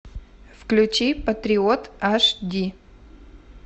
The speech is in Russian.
включи патриот аш ди